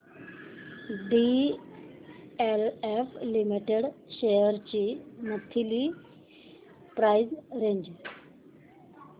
DLF limited shares ची monthly price range